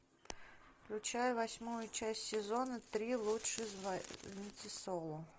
включай восьмую часть сезона три лучше звоните солу